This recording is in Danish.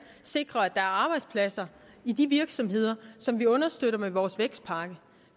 sikre at er arbejdspladser i de virksomheder som vi understøtter med vores vækstpakke